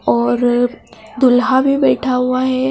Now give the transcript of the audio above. और दुल्हा भी बैठा हुआ है।